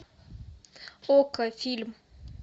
окко фильм